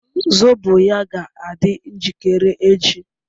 zobo ya ga adi njikere echi